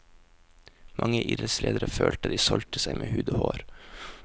Mange idrettsledere følte at de solgte seg med hud og hår.